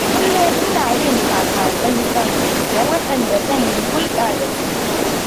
Kullum ina yin taka-tsan-tsan, da waɗanda zan yi hulɗa da su.